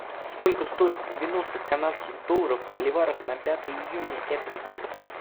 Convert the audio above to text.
сколько стоит девяносто канадских долларов в боливарах на пятое июня этот год